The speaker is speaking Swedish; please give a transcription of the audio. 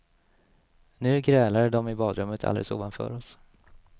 Nu grälade de i badrummet alldeles ovanför oss.